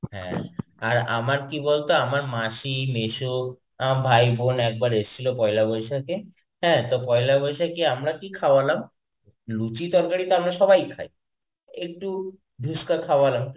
হ্যাঁ, আর কি বলতো আমার মাসি মেসো আমার ভাই বোন একবার এসেছিলো একবারে পয়লা বৈশাখে, হ্যাঁ, তো পয়লা বৈশাখে আমরা কি খাওয়ালাম, লুচি তরকারি তো আমরা সবাই খাই. একটু খাওয়ালাম.